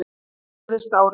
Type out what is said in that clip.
Hvað gerðist á árinu?